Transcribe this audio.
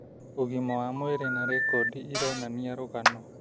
Ugima wa mwĩrĩ na rekondi ironania rũgano